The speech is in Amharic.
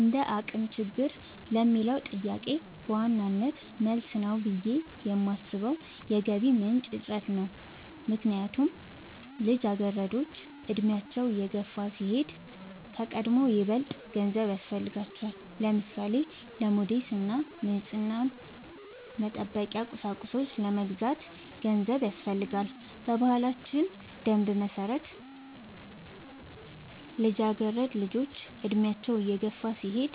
እንደአቅም ችግር ለሚለው ጥያቄ በዋናነት መልስ ነው ብሌ የማሥበው የገቢ ምንጭ እጥረት ነው። ምክንያቱም ልጃገረዶች አድሚያቸው እየገፋ ሲሄድ ከቀድሞው ይበልጥ ገንዘብ ያሥፈልጋቸዋል። ለምሳሌ:-ለሞዴስ እና ንፅህናን መጠበቂያ ቁሳቁሶች ለመግዛት ገንዘብ ያሥፈልጋል። በባህላችን ደንብ መሠረት ልጃገረድ ልጆች እድሚያቸው እየገፋ ሲሄድ